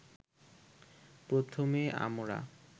প্রথমে আমরা